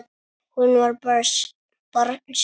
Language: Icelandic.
Hún var barn sjálf.